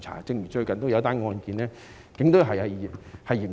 正如最近的一宗案件，警隊正在嚴查。